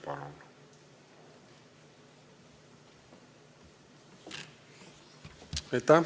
Palun!